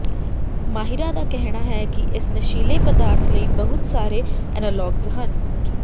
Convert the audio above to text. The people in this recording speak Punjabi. ਮਾਹਿਰਾਂ ਦਾ ਕਹਿਣਾ ਹੈ ਕਿ ਇਸ ਨਸ਼ੀਲੇ ਪਦਾਰਥ ਲਈ ਬਹੁਤ ਸਾਰੇ ਐਨਾਲੋਗਜ ਹਨ